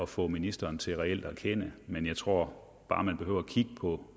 få ministeren til reelt at erkende men jeg tror bare vi behøver at kigge på